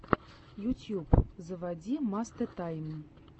ютьюб заводи мастэ тайм